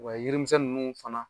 yirimisɛn ninnu fana